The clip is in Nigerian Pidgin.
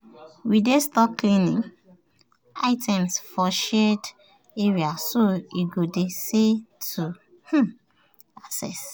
we dey store cleaning items for shared area so e go dey easy to um access.